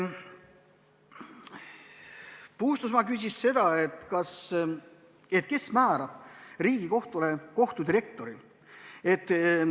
Paul Puustusmaa küsis, kes määrab Riigikohtule kohtudirektori.